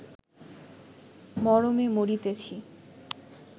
মরমে মরিতেছি